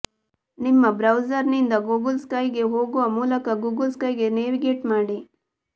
ನಿಮ್ಮ ಬ್ರೌಸರ್ನಿಂದ ಗೂಗಲ್ ಸ್ಕೈಗೆ ಹೋಗುವ ಮೂಲಕ ಗೂಗಲ್ ಸ್ಕೈಗೆ ನ್ಯಾವಿಗೇಟ್ ಮಾಡಿ